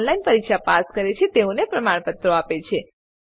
જેઓ ઓનલાઈન પરીક્ષા પાસ કરે છે તેઓને પ્રમાણપત્રો આપે છે